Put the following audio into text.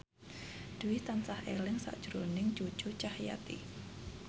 Dwi tansah eling sakjroning Cucu Cahyati